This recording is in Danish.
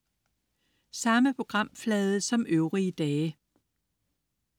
Samme programflade som øvrige dage